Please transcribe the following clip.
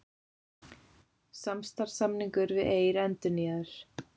Samstarfssamningur við Eir endurnýjaður